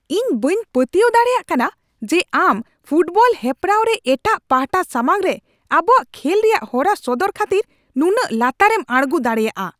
ᱤᱧ ᱵᱟᱹᱧ ᱯᱟᱹᱛᱭᱟᱹᱣ ᱫᱟᱲᱮᱭᱟᱜ ᱠᱟᱱᱟ ᱡᱮ ᱟᱢ ᱯᱷᱩᱴᱵᱚᱞ ᱦᱮᱯᱨᱟᱣ ᱨᱮ ᱮᱴᱟᱝ ᱯᱟᱦᱴᱟ ᱥᱟᱢᱟᱝᱨᱮ ᱟᱵᱚᱣᱟᱜ ᱠᱷᱮᱞ ᱨᱮᱭᱟᱜ ᱦᱚᱨᱟ ᱥᱚᱫᱚᱨ ᱠᱷᱟᱹᱛᱤᱨ ᱱᱩᱱᱟᱹᱴ ᱞᱟᱛᱟᱨᱮᱢ ᱟᱬᱜᱳ ᱫᱟᱲᱮᱭᱟᱜᱼᱟ ᱾